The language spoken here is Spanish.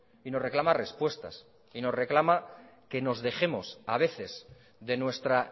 y nos reclama respuestas y nos reclama que nos dejemos a veces de nuestra